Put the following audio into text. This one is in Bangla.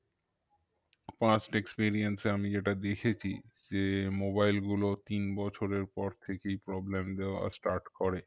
Past experience এ আমি যেটা দেখেছি যে mobile গুলো তিন বছরের পর থেকেই problem দেওয়া start করে